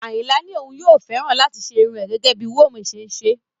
Ayinla ní òun yóò fẹ́ láti ṣe irun rẹ̀ gẹ́gẹ́ bí wome ṣe ń ṣe